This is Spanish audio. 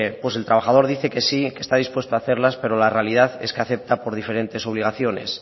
pues el trabajador dice que sí que está dispuesto a hacerlas pero la realidad es que acepta por diferentes obligaciones